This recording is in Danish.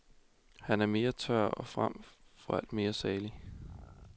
Han er mere tør og frem for alt mere saglig.